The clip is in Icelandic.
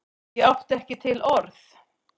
Ég átti ekki til orð!